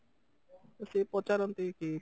ତ ସେ ପଚାରନ୍ତି କି